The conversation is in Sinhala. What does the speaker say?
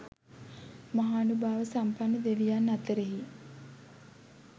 මහානුභාව සම්පන්න දෙවියන් අතරෙහි